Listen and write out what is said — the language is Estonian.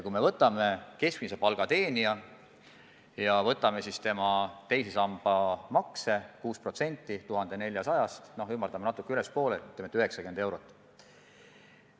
Kui me võtame keskmise palga teenija ja võtame tema teise samba makse, 6% 1400-st, siis ülespoole natuke ümardades saame 90 eurot.